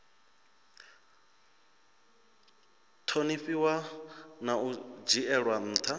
ṱhonifhiwa na u dzhielwa nṱha